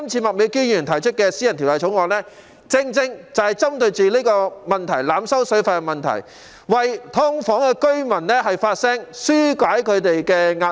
麥美娟議員這次提出的《條例草案》，正正針對濫收水費的問題，為"劏房戶"發聲，紓解他們的壓力。